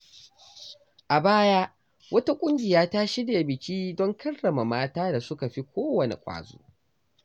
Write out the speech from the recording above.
A baya, wata ƙungiya ta shirya biki don karrama mata da suka fi kowane ƙwazo.